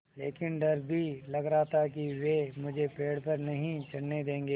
लेकिन डर भी लग रहा था कि वे मुझे पेड़ पर नहीं चढ़ने देंगे